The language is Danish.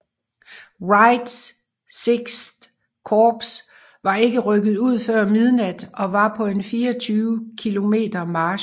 Wrights VI Korps var ikke rykket ud før midnat og var på en 24 km march